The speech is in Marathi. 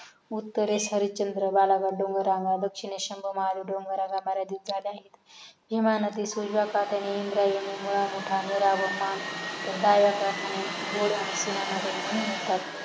उत्तरेस हरिश्चंद्र बालघाट डोंगर पच्चीमेस शमबु डोंगर आहेत हे महानदी सोयीसाकट्याने इंद्रायणी मुळा मोठा निराग मान तर डाव्या काठाने गोडवणे आणि सिना नदी येऊन मिळतात